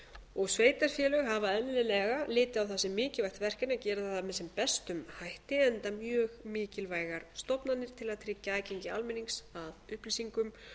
litið á það sem mikilvægt verkefni að gera það með sem bestum hætti enda mjög mikilvægar stofnanir til að tryggja aðgengi almennings að upplýsingum